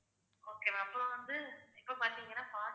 okay ma'am அப்புறம் வந்து இப்ப பாத்தீங்கன்னா